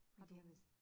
Det har været